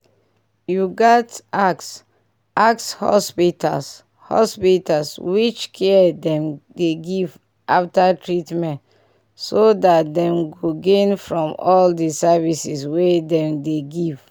you gats ask ask hospitals hospitals which care them dey give after treatment so that dem go gain from all the services wey dem dey give